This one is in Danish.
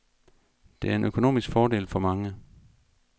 Det er en økonomisk fordel for mange.